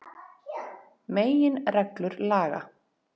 Meginreglur laga.